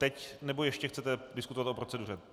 Teď, nebo ještě chcete diskutovat o proceduře?